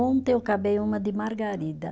Ontem eu acabei uma de margarida.